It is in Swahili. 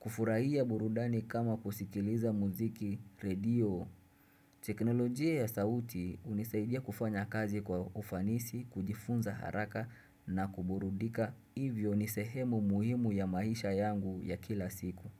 Kufurahia burudani kama kusikiliza muziki radio. Teknolojia ya sauti hunisaidia kufanya kazi kwa ufanisi, kujifunza haraka na kuburudika hivyo ni sehemu muhimu ya maisha yangu ya kila siku.